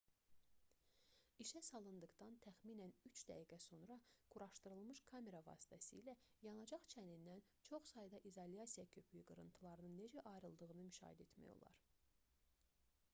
i̇şə salındıqdan təxminən 3 dəqiqə sonra quraşdırılmış kamera vasitəsilə yanacaq çənindən çox sayda izolyasiya köpüyü qırıntılarının necə ayrıldığını müşahidə etmək olar